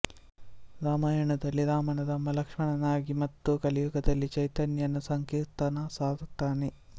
ರಾಮಾಯಣದಲ್ಲಿ ರಾಮನ ತಮ್ಮ ಲಕ್ಷ್ಮಣನಾಗಿ ಮತ್ತು ಕಲಿಯುಗದಲ್ಲಿ ಚೈತನ್ಯನ ಸಂಕೀರ್ತನ ಸಾರುತ್ತಾನೆ